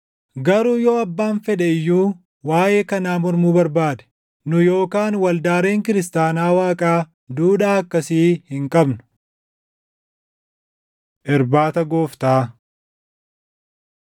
Garuu yoo abbaan fedhe iyyuu waaʼee kanaa mormuu barbaade, nu yookaan waldaaleen kiristaanaa Waaqaa duudhaa akkasii hin qabnu. Irbaata Gooftaa 11:23‑25 kwf – Mat 26:26‑28; Mar 14:22‑24; Luq 22:17‑20